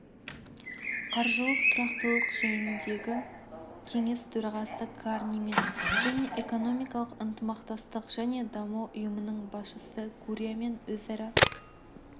қаржылық тұрақтылық жөніндегі кеңес төрағасы карнимен және экономикалық ынтымақтастық және даму ұйымының басшысы гурриамен өзара